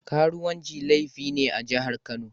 Karuwanci laifi ne a jihar Kano.